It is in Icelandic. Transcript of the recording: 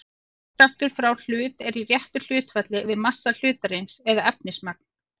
Þyngdarkraftur frá hlut er í réttu hlutfalli við massa hlutarins eða efnismagn.